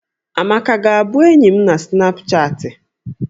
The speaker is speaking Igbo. Amaka ga-abụ enyi m na snapchatị?